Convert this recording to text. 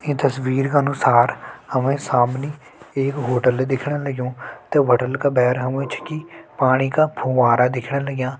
ईं तस्वीर का अनुसार हमें सामनी एक होटल दिखेण लग्युं ते होटल का भैर हमू छकि पाणी का फुंवारा दिखण लग्यां।